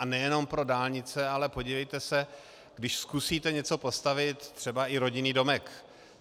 A nejenom pro dálnice, ale podívejte se, když zkusíte něco postavit, třeba i rodinný domek.